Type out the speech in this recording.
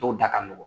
Dɔw da ka nɔgɔn